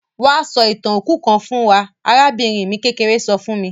Wa sọ ìtàn òkú kan fún wa; arabìnrin mi kékeré so fun mi.